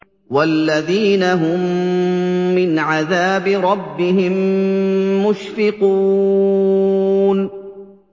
وَالَّذِينَ هُم مِّنْ عَذَابِ رَبِّهِم مُّشْفِقُونَ